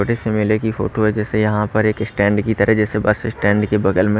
छोटे से मेले की फोटो है जैसे यहाँ पर एक स्टैंड की तरह जैसे बस स्टैंड के बगल में।